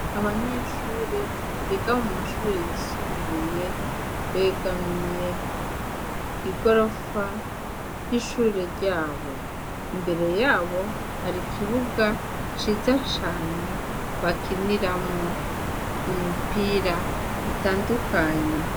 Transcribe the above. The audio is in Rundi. Abanyeshure biga mu mashure yisumbuye begamiye igorofa y'ishure ryabo, imbere yabo hari ikibuga ciza cane bakinihamwo imipira itandukanye.